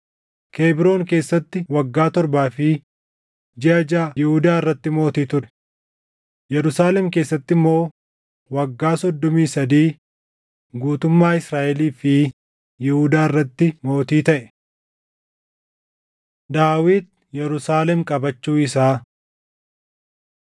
Kebroon keessatti waggaa torbaa fi jiʼa jaʼa Yihuudaa irratti mootii ture; Yerusaalem keessatti immoo waggaa soddomii sadii guutummaa Israaʼelii fi Yihuudaa irratti mootii taʼe. Daawit Yerusaalem Qabachuu Isaa 5:6‑10 kwf – 1Sn 11:4‑9 5:11‑16 kwf – 1Sn 3:5‑9; 14:1‑7